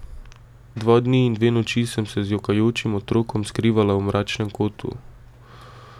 Dva dni in dve noči sem se z jokajočim otrokom skrivala v mračnem kotu.